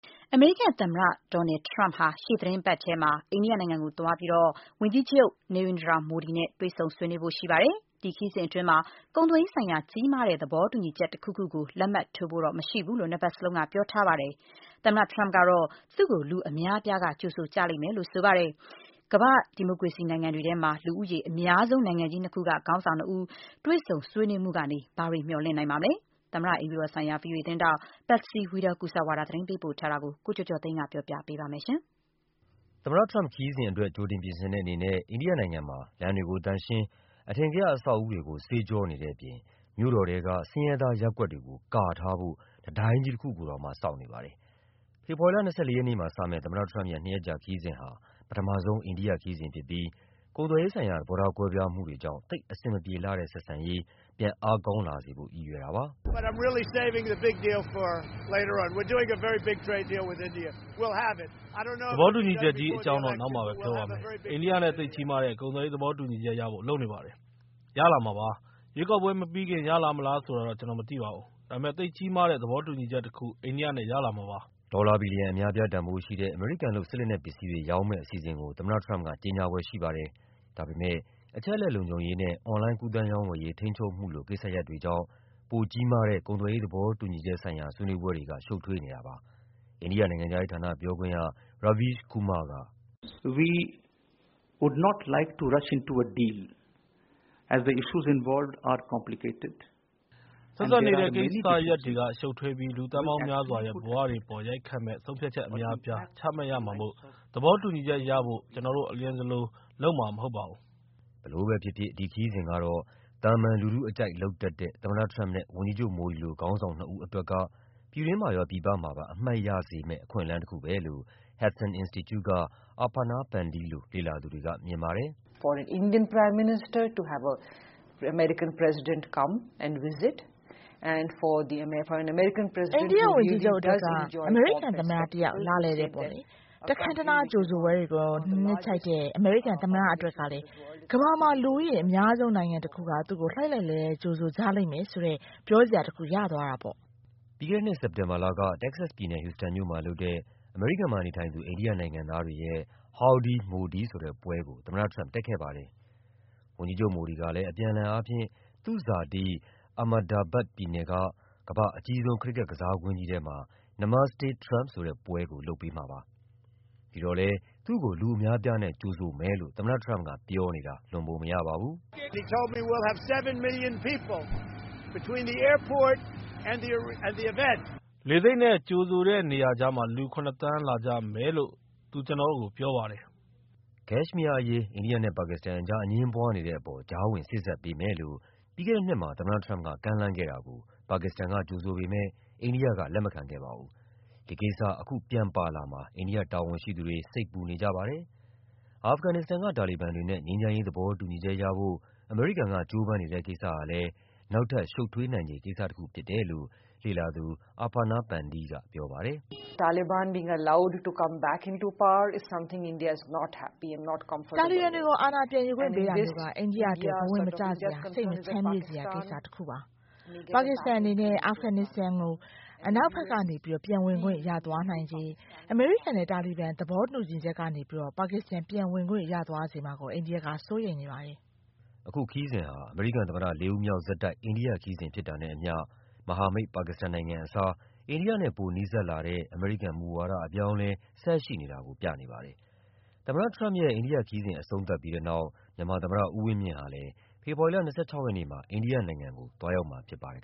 အမေရိကန်သမ္မတ Donald Trump ဟာ ရှေ့သီတင်းပတ်မှာ အိန္ဒိယနိုင်ငံကိုသွားပြီး ဝန်ကြီးချုပ် Narendra Modi နဲ့ တွေ့ဆုံဆွေးနွေးဖို့ ရှိပါတယ်။ ဒီခရီးစဉ်အတွင်း ကုန်သွယ်ရေးဆိုင်ရာ ကြီးမားတဲ့ သဘောတူညီချက် တခုခုကို လက်မှတ်ထိုးဖို့ မရှိဘူးလို့ နှစ်ဖက်လုံးက ပြောထားပါတယ်။ သမ္မတ Trump ကတော့ သူ့ကို လူအများအပြားက ကြိုဆိုကြလိမ့်မယ်လို့ ပြောထားပါတယ်။ ကမ္ဘာ့ဒီမိုကရေစီနိုင်ငံတွေထဲမှာ လူဦးရေအများဆုံး နိုင်ငံကြီးနှစ်ခုက ခေါင်းဆောင်နှစ်ဦး တွေ့ဆုံဆွေးနွေးမှုကနေ ဘာတွေမျှော်လင့်နိုင်ပါမလဲ၊ သမ္မတအိမ်ဖြူတော်ဆိုင်ရာ ဗွီအိုအေသတင်းထောက် Patsy Widakuswara ရဲ့သတင်းလွှာကို ကိုကျော်ကျော်သိန်းက တင်ပြပေးထားပါတယ်။ သမ္မတ Trump ရဲ့ ခရီးစဉ်အတွက် ကြိုတင်ပြင်ဆင်တဲ့အနေနဲ့ အိန္ဒိယနိုင်ငံမှာ လမ်းတွေကို သန့်ရှင်း၊ အထင်ကရ အဆောက်အဦတွေကို ဆေးကျောနေတဲ့အပြင် မြို့တော်ထဲက ဆင်းရဲသားရပ်ကွက်တွေကို ကာထားဖို့ တံတိုင်းကြီးတခုကိုတောင် ဆောက်နေပါတယ်။ ဖေဖော်ဝါရီလ ၂၄ ရက်မှာစမယ့် သမ္မတ Trump ရဲ့ နှစ်ရက်ကြာ ခရီးစဉ်ဟာ ပထမဆုံး အိန္ဒိယခရီးစဉ်ဖြစ်ပြီး ကုန်သွယ်ရေးဆိုင်ရာ သဘောထား ကွဲပြားမှုတွေကြောင့် သိပ်အဆင်မပြေလှတဲ့ ဆက်ဆံရေးကို အားကောင်းလာစေဖို့ ရည်ရွယ်တာပါ။ “သဘောတူညီချက်ကြီး အကြောင်းတော့ နောက်မှပဲပြောပါမယ်။ အိန္ဒိယနဲ့ သိပ်ကြီးမားတဲ့ ကုန်သွယ်ရေး သဘောတူညီချက်ရဖို့ လုပ်နေပါတယ်။ ရလာမှာပါ။ ရွေးကောက်ပွဲမပြီးခင် ရမလားဆိုတာတော့ ကျနော်မသိပါဘူး။ ဒါပေမယ့် သိပ်ကြီးမားတဲ့ သဘောတူညီချက်တခု အိန္ဒိယနဲ့ ရလာမှာပါ။” ဒေါ်လာဘီလီယံ အများအပြား တန်ဖိုးရှိတဲ့ အမေရိကန်လုပ် စစ်လက်နက်ပစ္စည်းတွေ ရောင်းမယ့်အစီအစဉ်ကို သမ္မတ Trump က ကြေညာဖွယ်ရှိပါတယ်။ ဒါပေမယ့် အချက်အလက် လုံခြုံရေးနဲ့ အွန်လိုင်း ကူးသန်းရောင်းဝယ်ရေး ထိန်းချုပ်မှုလို ကိစ္စရပ်တွေကြောင့် ပိုကြီးမားတဲ့ ကုန်သွယ်ရေး သဘောတူညီချက်ဆိုင်ရာ ဆွေးနွေးပွဲတွေက ရှုပ်ထွေးနေပါတယ်။ အိန္ဒိယနိုင်ငံခြားရေးဌာန ပြောခွင့်ရ Raveesh Kumar က အခုလိုပြောပါတယ်။ “ဆက်စပ်နေတဲ့ ကိစ္စရပ်တွေက ရှုပ်ထွေးပြီး လူသန်းပေါင်းများစွာရဲ့ ဘဝတွေပေါ် ရိုက်ခတ်မယ့် ဆုံးဖြတ်ချက်အများအပြား ချမှတ်ရမှာမို့ သဘောတူညီချက်ရဖို့ ကျနော်တို့ အလျင်စလိုလုပ်မှာ မဟုတ်ပါဘူး။” ဘယ်လိုပဲဖြစ်ဖြစ် ဒီခရီးစဉ်ကတော့ သာမန်လူထုအကြိုက် လုပ်တတ်တဲ့ သမ္မတ Trump နဲ့ ဝန်ကြီးချုပ် Modi လို ခေါင်းဆောင်နှစ်ဦး အတွက်ကတော့ ပြည်တွင်းမှာရော ပြည်ပမှာပါ အမှတ်ရစေမယ့် အခွင့်အလမ်းတခုပဲလို့ Hudson Institute က Aparna Pande လို လေ့လာသူတွေက မြင်ပါတယ်။ “အိန္ဒိယဝန်ကြီးချုပ်အတွက်က အမေရိကန်သမ္မတ တယောက် လာလည်တယ်ပေါ့။ တခမ်းတနား ကြိုဆိုပွဲတွေကို နှစ်ခြိုက်တဲ့ အမေရိကန် သမ္မတ တယောက် အတွက်ကလည်း ကမ္ဘာမှာ လူဦးရေအများဆုံး နိုင်ငံတခုက သူ့ကို လှိုက်လှိုက်လှဲလဲှ ကြိုဆိုကြလိမ့်မယ်ဆိုတဲ့ ပြောစရာတခု ရသွားတာပေါ့။” ပြီးခဲ့တဲ့နှစ် စက်တင်ဘာလက တက္ကဆက်စ်ပြည်နယ်၊ ဟူစတန်မြို့မှာလုပ်တဲ့ အမေရိကန်မှာနေထိုင်သူ အိန္ဒိယနိုင်ငံသားတွေရဲ့ “Howdy Modi” ဆိုတဲ့ပွဲကို သမ္မတ Trump တက်ခဲ့ပါတယ်။ ဝန်ကြီးချုပ် Modi ကလည်း အပြန်အလှန်အားဖြင့် သူ့ဇာတိ Ahmedabad ပြည်နယ်က ကမ္ဘာ့အကြီးဆုံး ခရစ်ကက်ကစားကွင်းကြီးထဲမှာ “Namaste Trump” ဆိုတဲ့ပွဲကို လုပ်ပေးခဲ့ပါတယ်။ ဒီတော့လည်း သူ့ကို လူအများအပြားနဲ့ ကြိုဆိုမယ်လို့ သမ္မတ Trump ပြောနေတာ လွန်ပုံမရပါဘူး။ “လေဆိပ်နဲ့ ကြိုဆိုတဲ့နေရာကြားမှာ လူ ၇ သန်း လာကြမယ်လို့ သူ ကျနော့်ကို ပြောပါတယ်။” ကက်ရှ်မီးယားအရေး အိန္ဒိယနဲ့ ပါကစ္စတန်ကြား အငြင်းပွားနေတဲ့အပေါ် ကြားဝင်စေ့စပ်ပေးမယ်လို့ ပြီးခဲ့တဲ့နှစ်မှာ သမ္မတ Trump က ကမ်းလှမ်းခဲ့တာကို ပါကစ္စတန်က ကြိုဆိုပေမယ့် အိန္ဒိယက လက်မခံခဲ့ပါဘူး။ ဒီကိစ္စ အခုပြန်ပါလာမှာ အိန္ဒိယတာဝန်ရှိသူတွေ စိတ်ပူနေကြပါတယ်။ အာဖဂန်နစ္စတန်က တာလီဘန်တွေနဲ့ ငြိမ်းချမ်းရေး သဘောတူညီချက်ရဖို့ အမေရိကန်က ကြိုးပမ်းနေတဲ့ ကိစ္စဟာလည်း နောက်ထပ် ရှုပ်ထွေးနိုင်ခြေ ကိစ္စတခု ဖြစ်တယ်လို့ လေ့လာသူ Aparna Pande က ပြောပါတယ်။ “တာလီဘန်တွေကို အာဏာပြန်ယူခွင့် ပေးတာမျိုးက အိန္ဒိယအတွက် ဘဝင်မကျစရာ၊ စိတ်မချမ်းမြေ့စရာ ကိစ္စတခုပါ။ ပါကစ္စတန်အနေနဲ့ အာဖဂန်နစ္စတန်ကို နောက်ဘက်ကနေ ပြန်ဝင်ခွင့် ရသွားနိုင်ခြေနဲ့ အမေရိကန်နဲ့ တာလီဘန် သဘောတူညီချက်ကနေ ပါကစ္စတန် ပြန်ဝင်ခွင့်ရသွားစေမှာကို အိန္ဒိယက စိုးရိမ်ပါတယ်။” အခုခရီးစဉ်ဟာ အမေရိကန်သမ္မတ လေးဦးမြောက်ဆက်တိုက် အိန္ဒိယခရီးစဉ် ဖြစ်တာနဲ့အမျှ မဟာမိတ် ပါကစ္စတန်နိုင်ငံအစား အိန္ဒိယနဲ့ ပိုနီးစပ်လာတဲ့ အမေရိကန်မူဝါဒ အပြောင်းအလဲ ဆက်ရှိနေတာကို ပြနေပါတယ်။ သမ္မတ Trump အိန္ဒိယခရီးစဉ် အဆုံးသတ်ပြီးတဲ့နောက် သမ္မတဦးဝင်းမြင့်ဟာလည်း ဖေဖော်ဝါရီလ ၂၆ ရက်နေ့မှာ အိန္ဒိယနိုင်ငံကို သွားရောက်မှာဖြစ်ပါတယ်